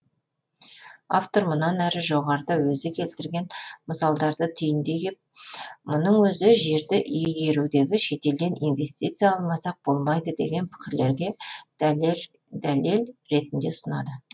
автор мұнан әрі жоғарыда өзі келтірген мысалдарды түйіндей келіп мұның өзі жерді игеруде шетелден инвестиция алмасақ болмайды деген пікірлерге дәлел ретінде ұсынады